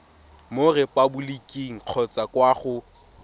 mo repaboliking kgotsa kwa go